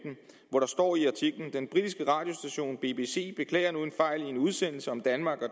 og der står i artiklen den britiske radiostation bbc beklager nu en fejl i en udsendelse om danmark og